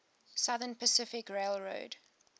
southern pacific railroad